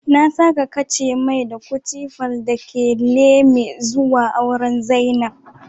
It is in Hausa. Na saka kashemee da Guchi Palm takeleme zua auren zainab